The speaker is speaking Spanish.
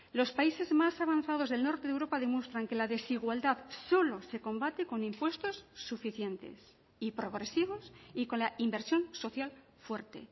los países más avanzados del norte de europa demuestran que la desigualdad solo se combate con impuestos suficientes y progresivos y con la inversión social fuerte